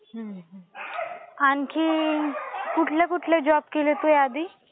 हु, आणखी कुठले कुठले जॉब केले तू याआधी?